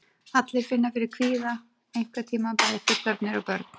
Allir finna fyrir kvíða einhvern tíma, bæði fullorðnir og börn.